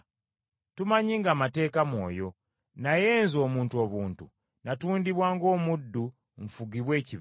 Tumanyi ng’amateeka mwoyo, naye nze omuntu obuntu, natundibwa ng’omuddu nfugibwe ekibi.